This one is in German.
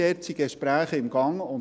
Hier sind Gespräche im Gange.